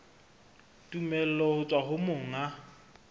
tumello ho tswa ho monga